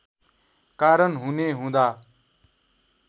कारण हुने हुँदा